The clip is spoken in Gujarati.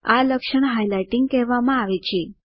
આ લક્ષણ હાઇલાઇટિંગ કહેવામાં આવે છે